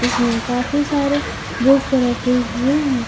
इसमें काफी सारे बुक रखे हुए हैं।